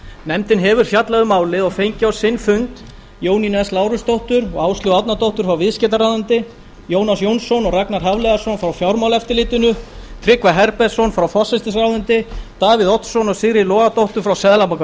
nefndin hefur fjallað um málið og fengið á sinn fund jónínu s lárusdóttur og áslaugu árnadóttur frá viðskiptaráðuneyti jónas fr jónsson og ragnar hafliðason frá fjármálaeftirlitinu tryggva herbertsson frá forsætisráðuneyti davíð oddsson og sigríði logadóttur frá seðlabanka